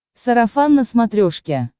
сарафан на смотрешке